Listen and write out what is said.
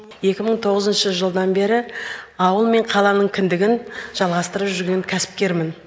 екі мың тоғызыншы жылдан бері ауыл мен қаланың кіндігін жалғастырып жүрген кәсіпкермін